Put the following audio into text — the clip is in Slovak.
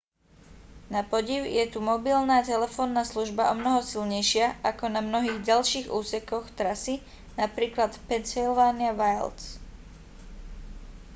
napodiv je tu mobilná telefónna služba omnoho silnejšia ako na mnohých ďalších úsekoch trasy napr v pennsylvania wilds